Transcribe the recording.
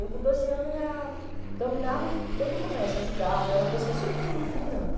Eu com dpze anos já dominava todo o comércio, eu ajudava, eu era uma pessoa, sempre fui muito dinâmica.